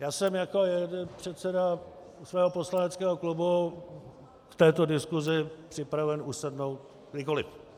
Já jsem jako předseda svého poslaneckého klubu k této diskusi připraven usednout kdykoli.